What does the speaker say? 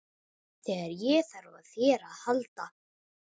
Þegar ég þarf á þér að halda.